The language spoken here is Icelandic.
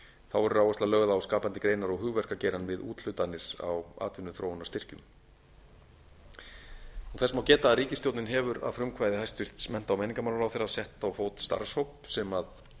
þá verður áhersla lögð á skapandi greinar og hugverkagerð við úthlutanir á atvinnuþróunarstyrkjum þess má geta að ríkisstjórnin hefur að frumkvæði hæstvirtum mennta og menningarmálaráðherra sett á fót starfshóp sem